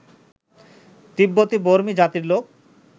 তিব্বতি বর্মী জাতির লোক